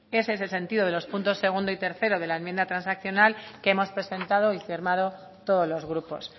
es ese el sentido de los puntos segundo y tercero de la enmienda transaccional que hemos presentando y firmado todos los grupos